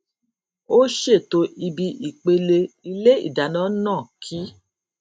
ó ṣètò ibi ìpele ilé ìdáná náà kí